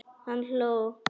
Hann hló.